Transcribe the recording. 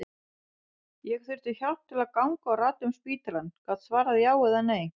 Ég þurfti hjálp til að ganga og rata um spítalann, gat svarað já eða nei.